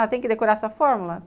Ah, tem que decorar essa fórmula?